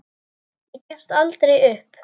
Ég gefst aldrei upp.